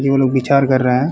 वो लोग बिचार कर रहे हैं।